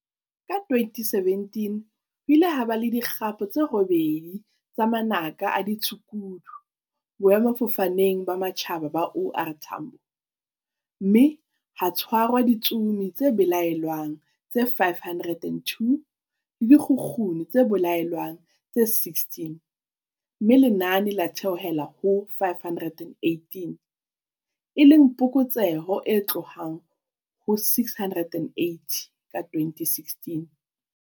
Ka 2017 ho ile ha ba le di kgapo tse robedi tsa manaka a ditshukudu Boemafofaneng ba Matjhaba ba OR Tambo, mme ha tshwarwa ditsomi tse belaellwang tse 502 le dikgukguni tse belaellwang tse 16, mme lenane la theohela ho 518, e leng phokotseho e tlohang ho 680 ka 2016.